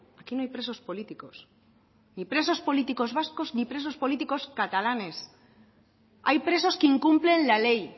aquí no hay presos políticos ni presos políticos vascos ni presos políticos catalanes hay presos que incumplen la ley